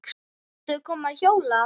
Viltu koma að hjóla?